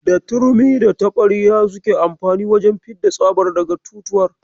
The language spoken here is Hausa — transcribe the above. Da turmi da taɓarya suke amfani wajen fidda tsabar daga totuwar.